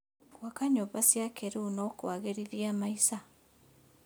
Gwaka nyũmba cia kĩrĩu no kwagĩrithie maica.